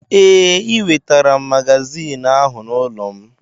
Ee, ị wetara magazin ahụ n'ụlọ m.